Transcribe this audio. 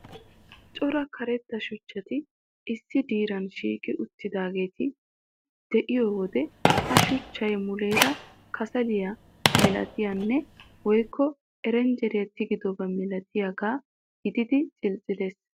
Cora karetta shuchchati issi diran shiiqi uttidaageeti de'iyo wode ha shuchchay muleera kasaliya malatiyanne woykko erenjjeriya tigidoba milatiyagaa gididi cilicilees.